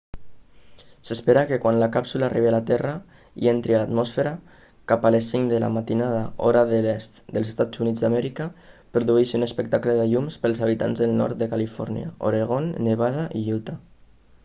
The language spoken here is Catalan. s'espera que quan la càpsula arribi a la terra i entri a l'atmosfera cap a les cinc de la matinada hora de l'est dels eua produeixi un espectacle de llums pels habitants del nord de califòrnia oregon nevada i utah